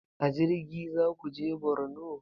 A jirgi zaku je borno?